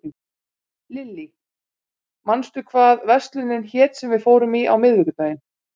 Lilly, manstu hvað verslunin hét sem við fórum í á miðvikudaginn?